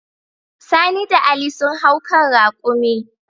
Sani da Ali sun hau kan raƙumi.